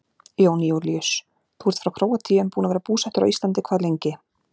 Jón Júlíus: Þú ert frá Króatíu en búinn að vera búsettur á Íslandi hvað lengi?